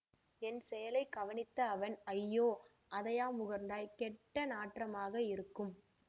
என் செயலை கவனித்த அவன் அய்யோ அதையா முகர்ந்தாய் கெட்டநாற்றமாக இருக்கும்